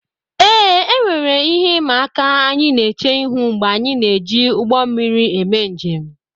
ee, e nwere ihe ịma aka anyị na-eche ihu mgbe anyị na-eji ụgbọ mmiri eme njem